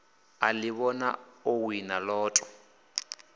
a ḓivhona o wina lotto